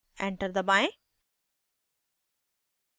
enter दबाएं